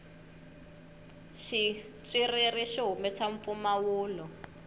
xitswiriri xi humesa mpfumawulo